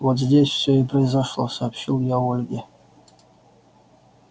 вот здесь всё и произошло сообщил я ольге